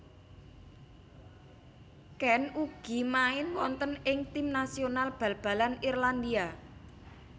Keane ugi main wonten ing tim nasional bal balan Irlandia